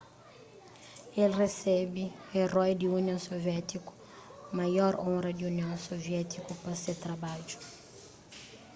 el resebe eroi di union suviétiku maior onra di union suviétiku pa se trabadju